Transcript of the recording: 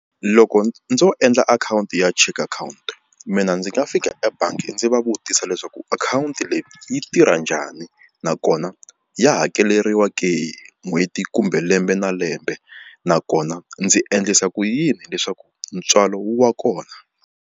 Loko ndzo endla akhawunti ya cheque akhawunti mina ndzi nga fika ebangi ndzi va vutisa leswaku akhawunti leyi yi tirha njhani nakona ya hakeleriwa ke n'hweti kumbe lembe na lembe nakona ndzi endlisa ku yini leswaku ntswalo wu va kona.